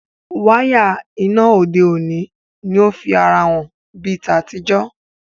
Waya iná òde òni o fí àrà hàn bí ta tí jo.